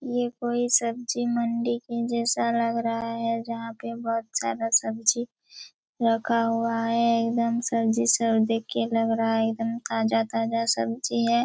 ये कोई सब्जी मंडी के जैसा लग रहा हैं जहाँ पे बहुत सारा सब्जी रखा हुआ हैं एकदम सब्जी सब देख के लग रहा हैं एकदम ताजा-ताजा सब्जी हैं ।